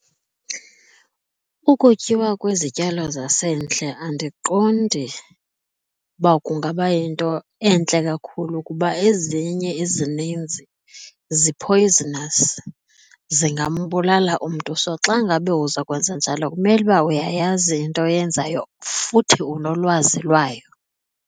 Ukutyiwa kwezityalo zasendle andiqondi uba kungaba yinto entle kakhulu kuba ezinye ezininzi zi-poisonous, zingambulala umntu. So, xa ngabe uzokwenza njalo kumele uba uyayazi into oyenzayo futhi unolwazi lwayo.